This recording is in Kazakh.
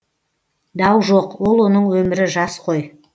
дау жоқ ол оның өмірі жас қой